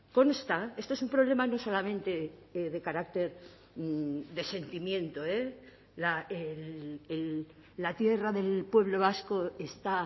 consta esto es un problema no solamente de carácter de sentimiento la tierra del pueblo vasco está